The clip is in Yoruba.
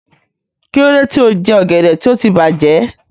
Kí ló dé tí o jẹ ọ̀gẹ̀dẹ̀ tí ó ti bàjẹ́?